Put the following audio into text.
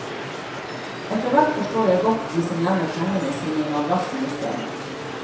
Etterhvert forstår jeg godt de som gjemmer pengene sine i madrassen i stedet.